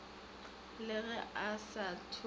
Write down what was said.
le ge a sa thope